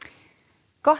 gott